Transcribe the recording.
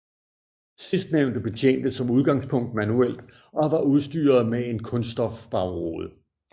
Sidstnævnte betjentes som udgangspunkt manuelt og var udstyret med en kunststofbagrude